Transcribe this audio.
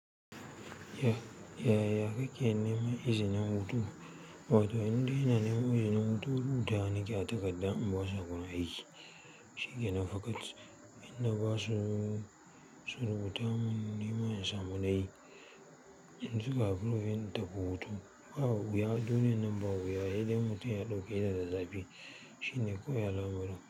Ya, ya, ya kake neman izinin hutu? Wato, indai ina nema izinin hutu, rubutawa nake a takarda in ba su a gun aiki. Shikkenan faƙat inna ba su, su rubuta mun nima in samu na yi, in suka approving in tafi hutu, babu wuya. Duniyan nan ba wuya, hedai in mutum ya ɗauketa da zafi shine kawai alamarin.